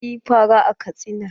Na siyi fara a Katsina.